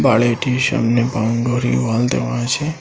বাড়িটির সামনে boundary wall দেওয়া আছে।